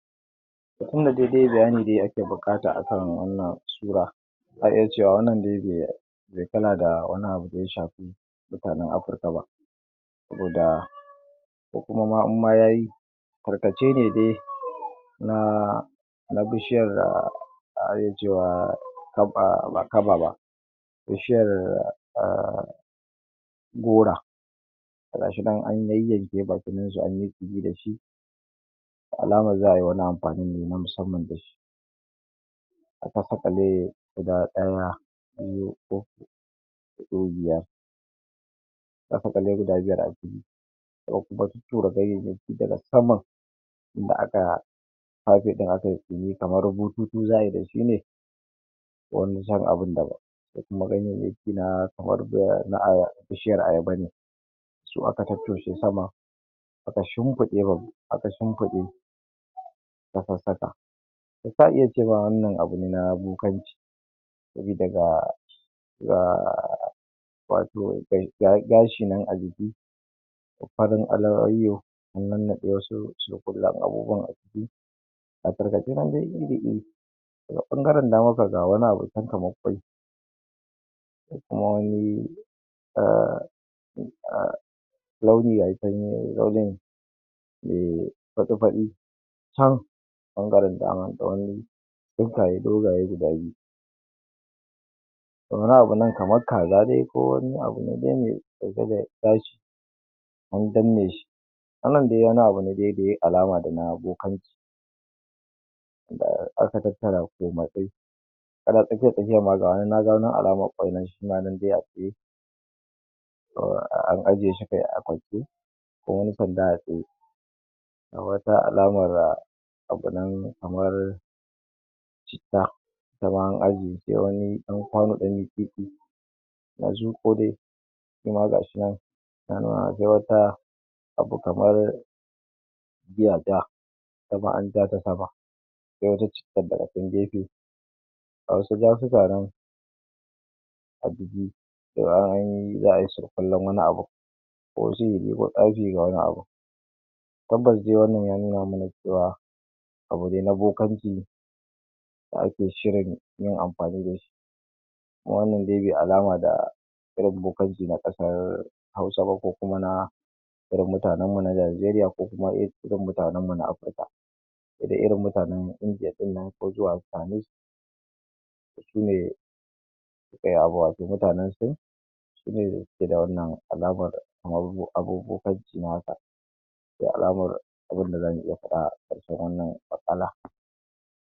Mukuma dai-dai bayani dai ake buƙata a kan wannan sura za a iya cewa wannan dai de kana da wani abu da ya shafi mutanen Afirka ba da da kuma in ma ya yi tarkace ne dai na na bishiyar da ake cewa ka a ba kaba ba bishiyar a gora ga shi nan an yayyanke ga alamar za a yi wani amfani ne na musamman da shi aka sagale guda ɗaya an da ɗe biya za kulli guda biyar a jiki sun kuma tuttura ganyayyaki daga saman in da aka fafe kan akai kamar za ai bututu ne don zam abu dabam da kuma ganyayyaki na doya bishiyar ayaba ne su aka tottoshe sama a ka shimfiɗe aka shimfiɗe takwas taka za ka iya cewa wannan abu ne na bokanci sabida ga ya wato ga wani gashi nan a jiki da farin layoyi an nannaɗe wasu surkullen abubuwa a ciki kafin ka kira dai daga ɓangaren damarka ga wani abu can a da kuma wani um mai fatsi-fatsi can ɓangaren dama tsawon bokaye guda biyu da wani abu nan kamar kaza dai kowani abu dai an danna shi wannan dai wani abu ne dai da yai alama da na bokanci da aka tattara komatsai ina tsakiyar tafiyar ga wani na ga alamar ƙwai nan shi ma dai a tsaye kuma an aje shi ne a akwati ko wani sanda a tsaye ga wata alamar abu nan kamar bitta bayan baubuwan ɗan mitsitsi ya zo ko dai kuma ga shi nan abu kamar zuwa ɗaya ko wata cikarta a nan gefe ga wasu gafuka nan a jbige da ya yi za ai surkullen wani abun ko sihiri na tsafi da wani abun tabbas dai wannan ya nuna mana cewa abu ne na bokanci da ake shirin yin amfani da shi wannan dai bai alama da irin bokanci na kasashen Hausa ba ko kuma na irin mutanen mu na Najeriya ko kuma irin mutanenmu na Afirka sai dai irin mutanen Indiya ɗin nan ko Canis da shi ne wato mutanen Sin sune ke da wannan al'ada kamar abun bokanci haka alamar abunda za mu iya faɗa ƙarshen wannan maƙala.